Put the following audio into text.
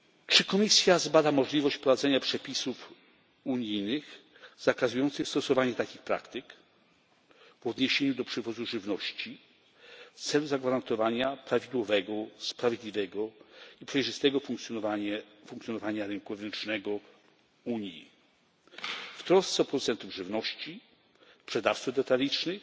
Czy Komisja zbada możliwość wprowadzenia przepisów unijnych zakazujących stosowania takich praktyk w odniesieniu do przywozu żywności, w celu zagwarantowania prawidłowego, sprawiedliwego i przejrzystego funkcjonowania rynku wewnętrznego Unii i w trosce o producentów żywności, sprzedawców detalicznych